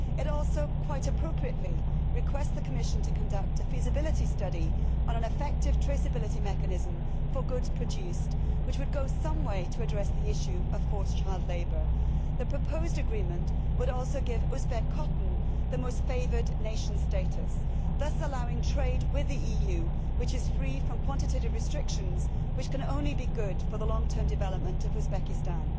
It also quite appropriately requests the Commission to conduct a feasibility study on an effective traceability mechanism for goods produced, which would go some way to address the issue of forced child labour. The proposed agreement would also give Uzbek cotton the most favoured nation status thus allowing trade with the EU which is free from quantitative restrictions, which can only be good for the long term development of Uzbekistan.